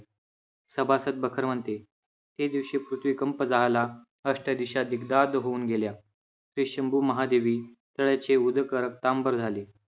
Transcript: सभासद बखर म्हणते, हे दिवशी पृथ्वी कंप जाहला, अष्ट दिशा दिग्दाध होऊन गेल्या. हे शंभू महादेवी तयाचे उदक रक्तांबर झाले.